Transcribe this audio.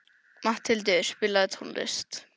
Matthildur, spilaðu tónlist.